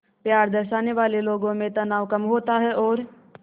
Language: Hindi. प्यार दर्शाने वाले लोगों में तनाव कम होता है और